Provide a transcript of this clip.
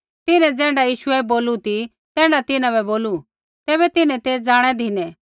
तिन्हैं ज़ैण्ढा यीशुऐ बोलू ती तैण्ढा तिन्हां बै बोलू तैबै तिन्हैं ते जाणै धिनै